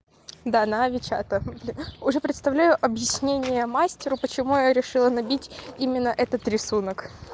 да на ави чата уже представляю объяснение мастеру почему я решила набить именно этот рисунок